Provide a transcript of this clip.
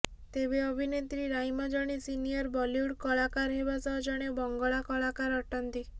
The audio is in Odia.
ତେବେ ଅଭିନେତ୍ରୀ ରାଇମା ଜଣେ ସିନିୟର୍ ବଲିଉଡ୍ କଳାକାର ହେବା ସହ ଜଣେ ବଙ୍ଗଳା କଳାକାର ଅଟନ୍ତି